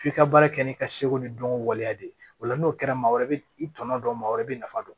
F'i ka baara kɛ n'i ka seko ni dɔnko waleya de ye o la n'o kɛra maa wɛrɛ bɛ i tɔnɔ dɔn maa wɛrɛ bɛ nafa dɔn